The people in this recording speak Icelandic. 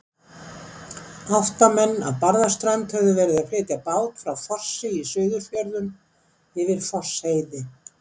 Átta menn af Barðaströnd höfðu verið að flytja bát frá Fossi í Suðurfjörðum, yfir Fossheiði.